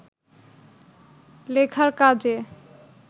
লেখার কাজে